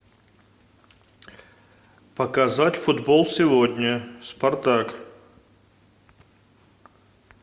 показать футбол сегодня спартак